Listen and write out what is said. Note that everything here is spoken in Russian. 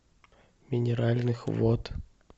минеральных вод